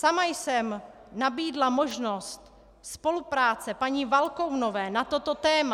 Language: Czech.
Sama jsem nabídla možnost spolupráce paní Valkounové na toto téma.